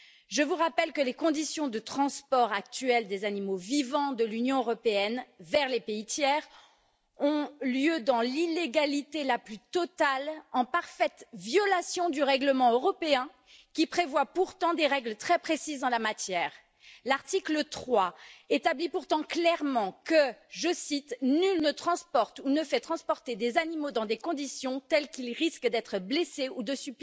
Je vous rappelle que les conditions de transport actuelles des animaux vivants de l'Union européenne vers les pays tiers ont lieu dans l'illégalité la plus totale, en parfaite violation du règlement européen, qui prévoit pourtant des règles très précises en la matière. L'article 3 établit pourtant clairement que je cite nul ne transporte ou ne fait transporter des animaux dans des conditions telles qu'ils risquent d'être blessés ou de